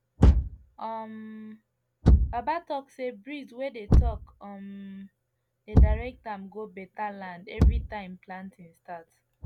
um baba talk say breeze wey dey talk um dey direct am go better land every time planting start